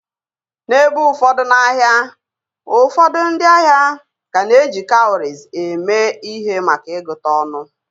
N'ebe ụfọdụ n'ahịa, ụfọdụ ndị ahịa ka na-eji cowries eme ihe maka ịgụta ọnụ